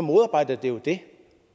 modarbejder det jo det